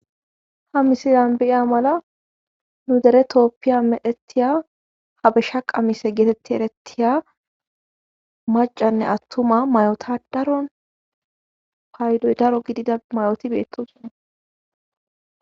ha misilan be'iya mala nu dere tooppiya medhettiya habeshsha qamise geetetti erettiya macanne attuma mayota daro paydoy daro gidida mayoti beettosona